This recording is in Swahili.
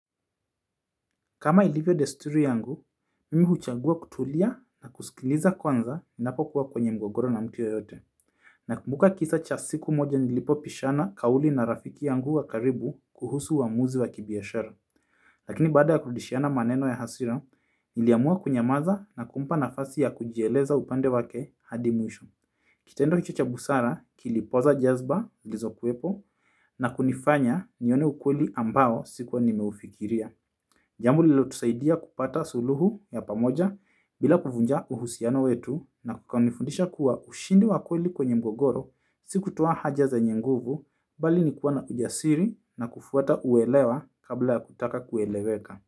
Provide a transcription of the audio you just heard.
Kama ilivyo desturi yangu, mimi huchagua kutulia na kusikiliza kwanza ninapokuwa kwenye mgogoro na mtu ye yote. Nakumbuka kisa cha siku moja nilipobishana kauli na rafiki yangu wa karibu kuhusu uamuzi wa kibiashara. Lakini baada ya kurudishiana maneno ya hasira, niliamua kunyamaza na kumpa nafasi ya kujieleza upande wake hadi mwisho. Kitendo hicho cha busara, kilipooza jazba, zilizokuwepo, na kunifanya nione ukweli ambao sikuwa nimeufikiria. Jambo lililotusaidia kupata suluhu ya pamoja. Bila kuvunja uhusiano wetu na kukanifundisha kuwa ushindi wa kweli kwenye mgogoro, si kutwaa haja zenye nguvu, bali ni kuwa na ujasiri na kufuata uelewa kabla ya kutaka kueleweka.